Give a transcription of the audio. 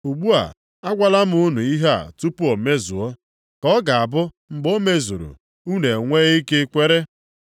Ugbu a, agwala m unu ihe a tupu o mezuo, ka ọ ga-abụ mgbe o mezuru, unu enwee ike kwere.